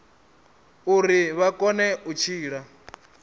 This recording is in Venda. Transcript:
uri vha kone u tshila